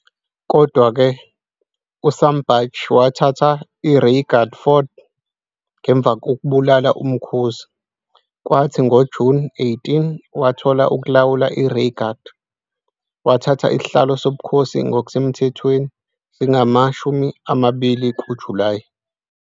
Kodwa-ke, uSambhaji wathatha iRaigad Fort ngemva kokubulala umkhuzi, kwathi ngoJuni 18 wathola ukulawula uRaigad, wathatha isihlalo sobukhosi ngokusemthethweni zingama-20 kuJulayi.